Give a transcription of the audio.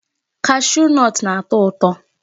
Cashew nut na-atọ ụtọ.